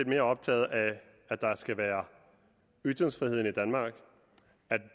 mere optaget af at der skal være ytringsfrihed i danmark at